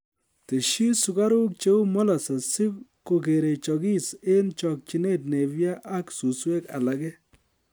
Tesyi sukaruk cheu molases si kokerechokis eng chokchinet Napier ak suswek alake